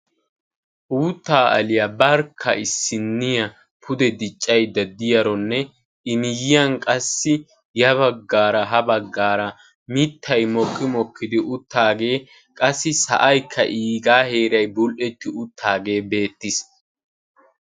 Uuttaa aliya barkka issinniya pude diccaydda diyaronne i miyyiyan qassi ya baggaara ha baggaara mittayi mokki mokkidi uttaagee qassi sa"aykka iigaa heerayi bull"etti uttaagee beettes.